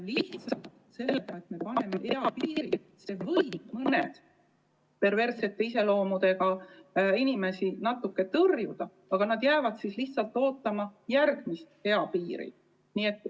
Lihtsalt see, et sätestame kõrgema eapiiri, võib mõnda perversse iseloomuga inimest natuke tõrjuda, aga nad jäävad siis lihtsalt ootama järgmise eapiiri saabumist.